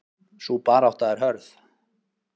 Sú barátta er hörð.